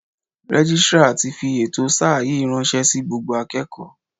Registrar ti fi ètò sáà yìí ránṣẹ́ sí gbogbo akẹ́kọ̀ọ́.